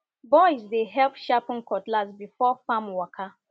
boys dey help sharpen cutlass before farm waka